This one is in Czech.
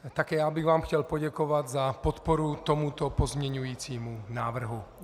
Také já bych vám chtěl poděkovat za podporu tomuto pozměňujícímu návrhu.